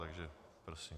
Takže prosím.